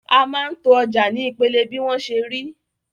A máa ń to ọjà ní ìpele bí wọ́n ṣe rí.